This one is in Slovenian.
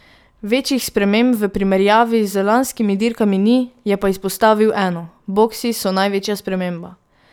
Večjih sprememb v primerjavi z lanskimi dirkami ni, je pa izpostavil eno: "Boksi so največja sprememba.